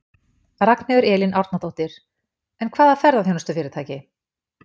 Ragnheiður Elín Árnadóttir: En hvaða ferðaþjónustufyrirtæki?